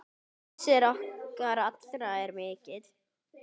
Missir okkar allra er mikill.